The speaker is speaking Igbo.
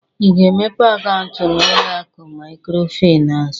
I ga-emepe akaụntụ n'ụlọ akụ Maịkrofịnansị?